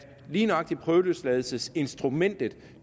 lige nøjagtig prøveløsladelsesinstrumentet